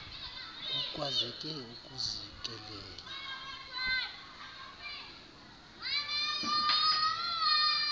kukwazeke ukuzi kelela